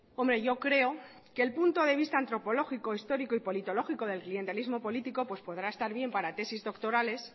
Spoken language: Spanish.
hombre yo creo que el punto de vista antropológico histórico politológico del clientelismo político pues podrá estar bien para tesis doctórales